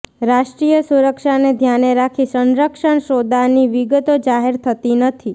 રાષ્ટ્રીય સુરક્ષાને ધ્યાને રાખી સંરક્ષણ સોદાની વિગતો જાહેર થતી નથી